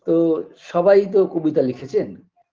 তো সবাই তো কবিতা লিখেছেন